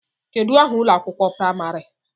Kedụ aha ụlọ akwụkwọ praịmarị?